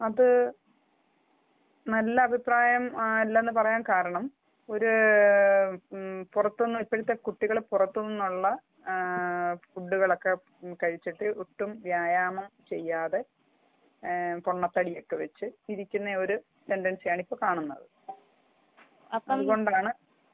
അത് നല്ല അഭിപ്രായമല്ല എന്ന് പറയാൻ കാരണം പുറത്തുനിന്ന് ഇപ്പോഴത്തെ കുട്ടികൾ പുറത്തുനിന്നുള്ള ഫുഡുകൾ ഒക്കെ കഴിച്ചിട്ട് ഒട്ടും വ്യായാമം ചെയ്യാതെ പൊണ്ണ തടി ഒക്കെ വച്ച് ഇരിക്കുന്ന ഒരു ടെൻഡൻസി ആണ് ഇപ്പൊ കാണുന്നത് അത് കൊണ്ടാണ് ഇപ്പോഴത്തെ ഫാസ്റ്റഫുഡ് ഭക്ഷണം മാത്രം ആശ്രയിച്ച് ജീവിക്കുന്ന കുറെ ആൾകാരുണ്ടാകും അതിനോട് വളരെ മോശമഭി പ്രായമാണ് എനിക്കുള്ളത്